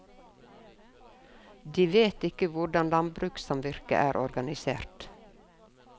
De vet ikke hvordan landbrukssamvirket er organisert.